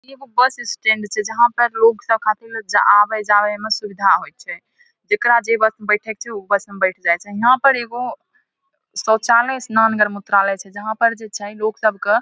एगो bus stand छिये जहां पर लोग सब आवे-जावे में सुविधा होय छै जेकरा जे बस में बैठे के छै ऊ बस में बैठ जाय छै यहां पर एगो शौचालय स्नानघर मूत्रालय छै जहां पर जेई छै लोग सब के--